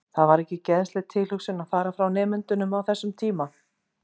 Það var ekki geðsleg tilhugsun að fara frá nemendunum á þessum tíma.